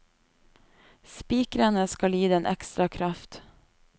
Spikrene skal gi den ekstra kraft.